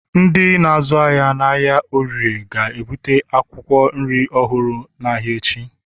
Ndị na-azụ ahịa n'ahịa oriire ga-ebute akwụkwọ nri ọhụrụ n'ahịa echi